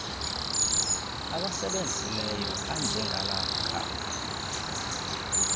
awasebenzisileyo anjengala khaka